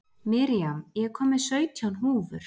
Miriam, ég kom með sautján húfur!